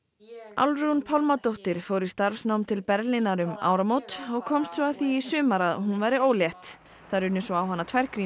Álfrún Pálmadóttir fór í starfsnám til Berlínar um áramót og komst svo að því í sumar að hún væri ólétt það runnu svo á hana tvær